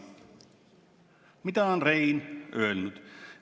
Mida on Rein öelnud?